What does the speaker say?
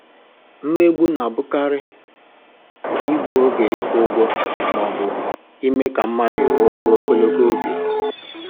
Mmegbu na-abụkarị igbu oge ịkwụ ụgwọ ma ọ bụ iwè ka mmadụ rụọ ọrụ ogologo oge